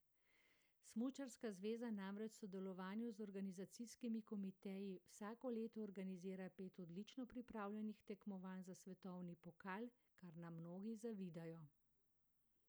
Smučarska zveza namreč v sodelovanju z organizacijskimi komiteji vsako leto organizira pet odlično pripravljenih tekmovanj za svetovni pokal, kar nam mnogi zavidajo.